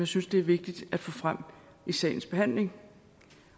synes det er vigtigt at få frem i sagsbehandlingen